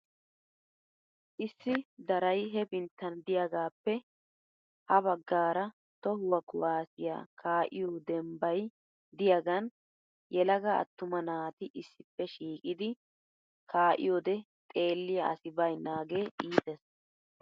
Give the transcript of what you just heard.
Issi daray hepinttan diyagaappe ha baggaara tohuwa kuwaasiya kaa'iyo dembbay diyaagan yelaga atumma naati issippe shiiqidi kaa'iyode xeelliya asi bayinnaagee iites.